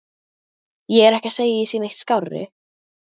Ég er ekki að segja að ég sé neitt skárri.